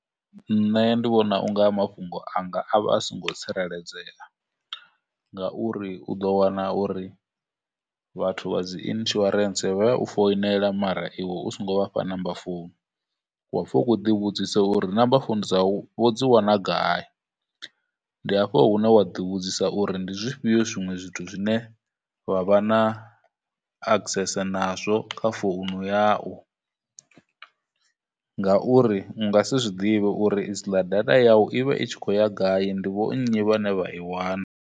Nṋe ndi vhona u nga mafhungo anga a vha a songo tsireledzea, ngauri u ḓo wana uri vhathu vha dzi insuarance vha ya u foinela mara iwe u songo vhafha number phone, wa pfha u khou ḓi vhudzisa uri number phone dzau vho dzi wana gai, ndi afho hune wa ḓi vhudzisa uri ndi zwifhio zwinwe zwithu zwine vha vha na access nazwo kha founu yau, ngauri u nga si zwiḓivhe uri dziḽa data yau i vha i tshi khou ya gai, ndi vho nnyi vhane vha i wana.